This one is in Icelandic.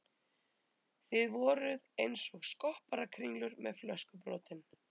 Þið voruð einsog skopparakringlur með flöskubrotin.